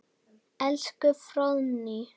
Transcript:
Elsku Fróðný.